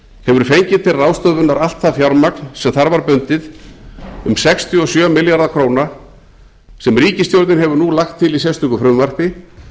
hefur fengið til ráðstöfunar allt það fjármagn sem þar var bundið um sextíu og sjö milljarða króna sem ríkisstjórnin hefur nú lagt til í sérstöku frumvarpi